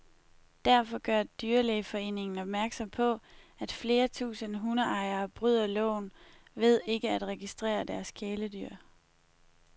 Derfor gør dyrlægeforeningen opmærksom på, at flere tusinde hundeejere bryder loven ved ikke at registrere deres kæledyr.